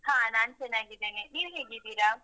ಹಾ ನಾನ್ ಚೆನ್ನಾಗಿದ್ದೇನೆ. ನೀವು ಹೇಗಿದ್ದೀರಾ?